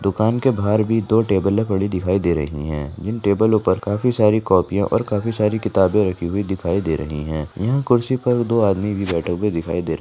दुकान के बाहार भी दो टेबलें पड़ी दिखाई दे रहे हैं जिन टेबलो पर काफी सारी कॉपिया और काफी सारी किताबें रखी दिखाई दे रही है यहाँ कुर्सी पर दो आदमी भी बेठे हुए दिखाई दे रहे है।